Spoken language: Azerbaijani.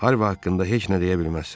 Harvi haqqında heç nə deyə bilməzsən.